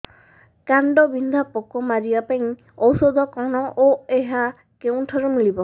କାଣ୍ଡବିନ୍ଧା ପୋକ ମାରିବା ପାଇଁ ଔଷଧ କଣ ଓ ଏହା କେଉଁଠାରୁ ମିଳିବ